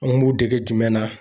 An b'u dege jumɛn na